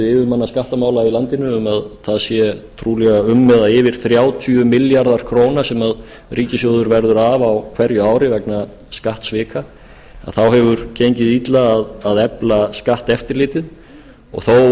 yfirmanna skattamála í landinu um að það sé trúlega um eða yfir þrjátíu milljarðar króna sem ríkissjóður verður af á hverju ári vegna skattsvika þá hefur gengið illa að efla skatteftirlitið þó